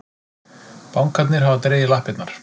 Bankarnir hafa dregið lappirnar